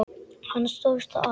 Hann stóðst það afl.